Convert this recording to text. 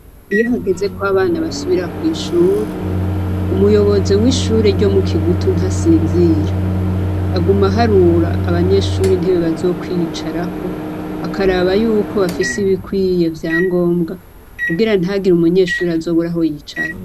Iyo hageze ko abana basubira kw'ishure, umuyobozi w'ishure ryo mu Kigutu ntasinzira. Aguma aharura abanyeshure intebe bazokwicarako, akaraba yuko bafise ibikwiye vya ngombwa, kugira ntihagire umunyeshure azobura aho yicara.